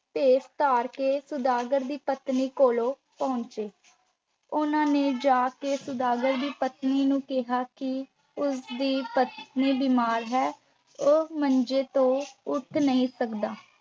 ਭੇਸ ਧਾਰ ਕੇ ਸੁਦਾਗਰ ਦੀ ਪਤਨੀ ਕੋਲੋਂ ਪਹੁੰਚੇ। ਉਹਨਾਂ ਨੇ ਜਾ ਕੇ ਸੁਦਾਗਰ ਦੀ ਪਤਨੀ ਨੂੰ ਕਿਹਾ ਕਿ ਉਸ ਦੀ ਪਤੀ ਬਿਮਾਰ ਹੈ ਉਹ ਮੰਜੇ ਤੋਂ ਉੱਠ ਨਹੀਂ ਸਕਦਾ।